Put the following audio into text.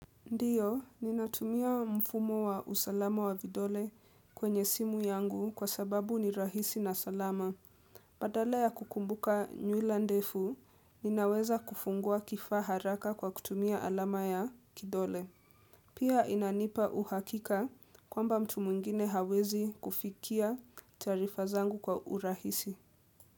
Ndio, ninatumia mfumo wa usalama wa vidole kwenye simu yangu kwa sababu ni rahisi na salama. Badala ya kukumbuka nywila ndefu, ninaweza kufungua kifaa haraka kwa kutumia alama ya kidole. Pia inanipa uhakika kwamba mtu mwingine hawezi kufikia taarifa zangu kwa urahisi.